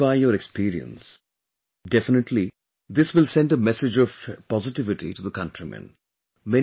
You have shared by your experience, definitely this will send a message of positivity to the countrymen